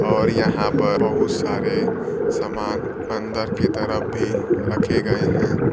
और यहां पर बहुत सारे सामान अंदर के तरफ भी रखे गए हैं।